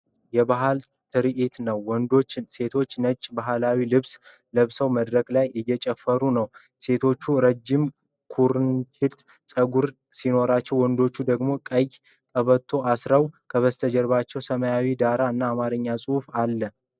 የባህል ትርዒት ነው። ወንዶችና ሴቶች ነጭ ባህላዊ ልብሶችን ለብሰው መድረክ ላይ እየጨፈሩ ነው። ሴቶቹ ረጅም ኩርንችት ጸጉር ሲኖራቸው፣ ወንዶቹ ደግሞ ቀይ ቀበቶ አስረዋል። ከበስተጀርባ ሰማያዊ ዳራ እና አማርኛ ጽሑፎች አሉ።